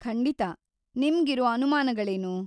ಖಂಡಿತಾ, ನಿಮ್ಗಿರೋ ಅನಮಾನಗಳೇನು?